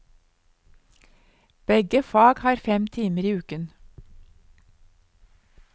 Begge fag har fem timer i uken.